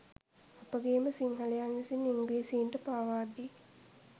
අපගේ ම සිංහලයන් විසින් ඉංග්‍රීසීන්ට පාවා දී